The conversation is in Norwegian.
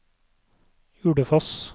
Ulefoss